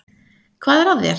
Hvað er að þér?